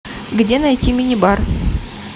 где найти мини бар